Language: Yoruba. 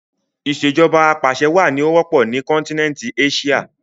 Ìsèjọba apàṣẹwà ni ó wọ́pọ̀ ni kọ́nkínẹntí Éṣíà